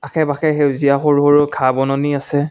আশে পাশে সেউজীয়া সৰু সৰু ঘাঁহ বননি আছে।